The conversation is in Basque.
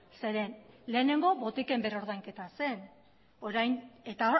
zeren eta lehenengo botiken berrordainketa zen eta